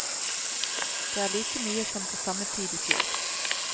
Det er like mye som til samme tid i fjor.